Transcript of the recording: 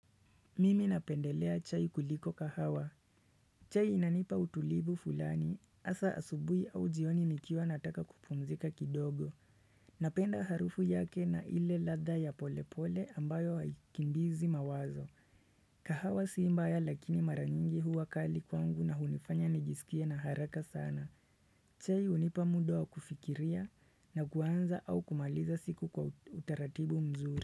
Mimi napendelea chai kuliko kahawa chai inanipa utulivu fulani, hasa asubuhi au jioni nikiwa nataka kupumzika kidogo Napenda harufu yake na ile ladha ya polepole ambayo haikimbizi mawazo kahawa si mbaya lakini maranyingi huwa kali kwangu na hunifanya nijisikie na haraka sana chai hunipa muda kufikiria na kuanza au kumaliza siku kwa utaratibu mzuri.